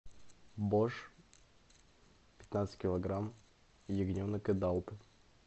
бош пятнадцать килограмм ягненок эдалт